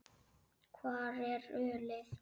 Hvar er ölið?